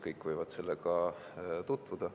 Kõik võivad sellega stenogrammi abil tutvuda.